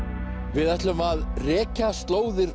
við ætlum að rekja slóðir